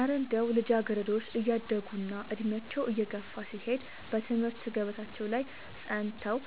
እረ እንደው ልጃገረዶች እያደጉና ዕድሜያቸው እየገፋ ሲሄድ በትምህርት ገበታቸው ላይ ጸንተው